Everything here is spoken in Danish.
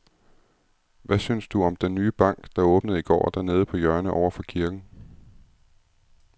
Hvad synes du om den nye bank, der åbnede i går dernede på hjørnet over for kirken?